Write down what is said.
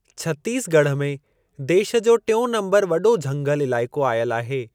छत्तीसगढ़ में देश जो टियों नंबर वॾो झंगल इलाइको आयल आहे।